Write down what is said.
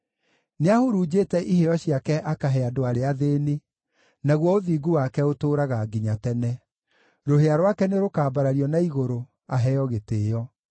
Nĩahurunjĩte iheo ciake akahe andũ arĩa athĩĩni, naguo ũthingu wake ũtũũraga nginya tene; rũhĩa rwake nĩrũkambarario na igũrũ, aheo gĩtĩĩo.